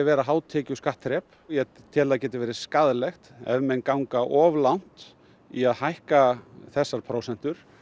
vera hátekjuskattþrep og ég tel að það geti verið skaðlegt ef menn ganga of langt í að hækka þessar prósentur